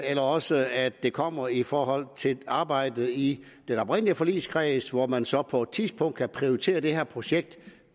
eller også at det kommer i forhold til arbejdet i den oprindelige forligskreds hvor man så på et tidspunkt kan prioritere det her projekt